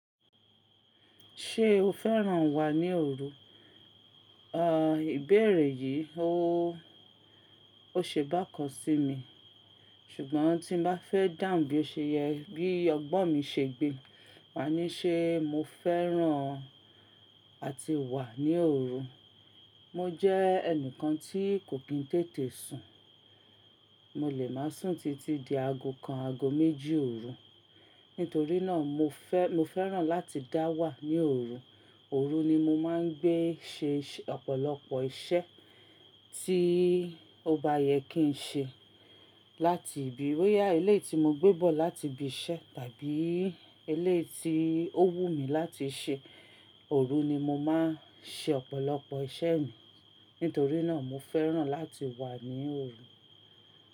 Ṣé o fẹ́ràn wà ní òru? À, ìbéèrè yìí ó, ó ṣe bákan sí mi. Ṣùgbọ́n tí n bá fẹ́ dáhùn bí ó ṣe yẹ, bí ọgbọ́n mi ṣe gbe, màá ní ṣé mo fẹ́ràn àti wà ní òru. Mo jẹ́ ẹnìkan tí kò kí n tètè sùn. Mo lè máa sùn títí di aago kan, aago méjì òru. Nítorí náà mo fẹ́, mo fẹ́ràn láti dá wà ní òru. Òru ni mo máa ń gbé ṣe ọ̀pọ̀lọpọ̀ iṣẹ́ tí ó bá yẹ kí n ṣe. Láti ìbí óyà ilé tí mo gbé bọ̀ láti ibi iṣẹ́ tàbí elé tí ó wù mí láti ṣe, òru ni mo máa ń ṣe ọ̀pọ̀lọpọ̀ iṣẹ́ mi. Nítorí náà mo fẹ́ràn láti wà ní òru.